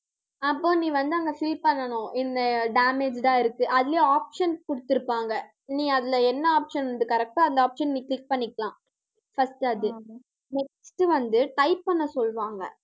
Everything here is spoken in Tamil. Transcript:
அப்போ நீ வந்து அங்க fill பண்ணணும். இந்த damaged ஆ இருக்கு. அதுலயும் options குடுத்திருப்பாங்க அதுல என்ன option correct ஆ அந்த option நீங்க click பண்ணிக்கலாம் first அது next வந்து type பண்ண சொல்லுவாங்க